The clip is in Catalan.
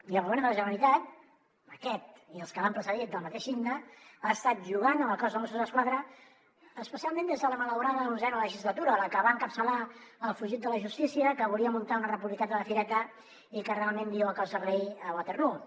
i el govern de la generalitat aquest i els que l’han precedit del mateix signe ha estat jugant amb el cos de mossos d’esquadra especialment des de la malaurada onzena legislatura la que va encapçalar el fugit de la justícia que volia muntar una republiqueta de fireta i que realment viu a cos de rei a waterloo